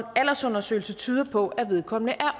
aldersundersøgelse tyder på at vedkommende er